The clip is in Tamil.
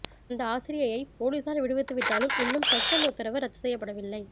அந்த ஆசிரியையை போலீசார் விடுவித்துவிட்டாலும் இன்னும் சஸ்பெண்ட் உத்தரவு ரத்து செய்யப்படவில்லை